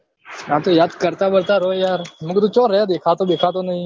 હા તો યાદ્દ કરતા બરતા રો યાર મુ કીધું ચો રે દેખાતો બેખાતો નહી